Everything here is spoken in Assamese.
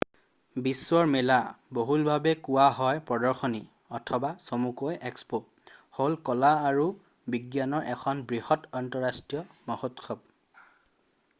বিশ্বৰ মেলা বহুলভাৱে কোৱা হয় প্ৰদৰ্শনী অথবা চমুকৈ এক্সপ' হ'ল কলা আৰু বিজ্ঞানৰ এখন বৃহৎ আন্তঃৰাষ্ট্ৰীয় মহোৎসৱ।